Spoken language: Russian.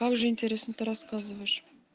как же интересно ты рассказываешь